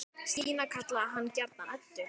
Stína kallaði hana gjarnan Öddu.